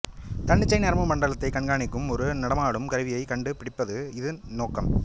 தன்னிச்சை நரம்பு மண்டலத்தைக் கண்காணிக்கும் ஒரு நடமாடும் கருவியை கண்டு பிடிப்பது இதன் நோக்கம்